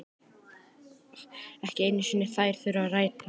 Ekki einu sinni þær þurfa að rætast.